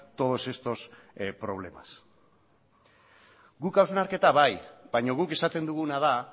todos estos problemas guk hausnarketa bai baina guk esaten duguna da